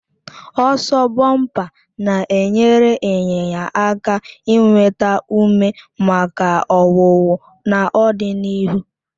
Ọsọ bọmpa na-enyere ịnyịnya aka inweta ume maka ọwụwụ n'ọdịnihu,